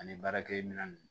Ani baarakɛ minɛn nunnu